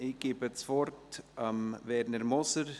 Ich gebe das Wort dem Kommissionspräsidenten.